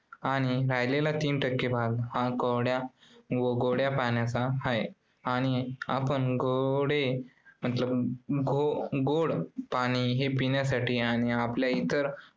आणि राहिलेला तीन टक्के भाग हा गोड्या अं गोड्या पाण्याचा आहे आणि आपण गोडे मतलब गो~ गोड पाणी हे पिण्यासाठी आणि आपल्या इतर